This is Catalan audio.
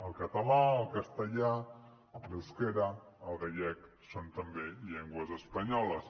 el català el castellà l’eusquera el gallec són també llengües espanyoles